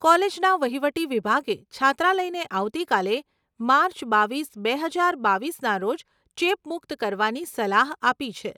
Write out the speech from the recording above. કોલેજના વહીવટી વિભાગે છાત્રાલયને આવતીકાલે, માર્ચ બાવીસ, બે હજાર બાવીસના રોજ ચેપમુક્ત કરવાની સલાહ આપી છે.